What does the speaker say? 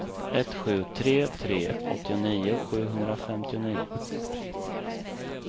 ett sju tre tre åttionio sjuhundrafemtionio